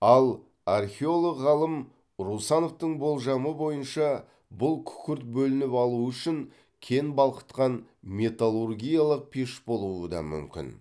ал археолог ғалым русановтың болжамы бойынша бұл күкірт бөлініп алу үшін кен балқытқан металлургиялық пеш болуы да мүмкін